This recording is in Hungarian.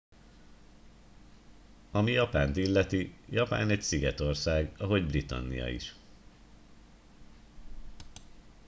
ami japánt illeti japán egy szigetország ahogy britannia is